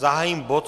Zahájím bod